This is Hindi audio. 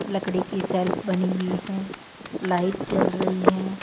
लकड़ी की शेल्फ बनी हुईं हैं लाइट जल रही हैं।